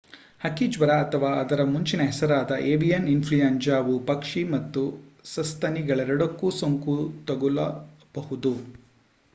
ಹಕ್ಕಿ ಜ್ವರ ಅಥವಾ ಅದರ ಮುಂಚಿನ ಹೆಸರಾದ ಏವಿಯಾನ್ ಇಂಫ್ಲೂಯಂಜಾ ವು ಪಕ್ಷಿ ಮತ್ತು ಸಸ್ತನಿಗಳೆರಡಕ್ಕೂ ಸೋಂಕು ತಗುಲಬಹುದು